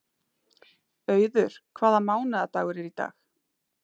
Auður, hvaða mánaðardagur er í dag?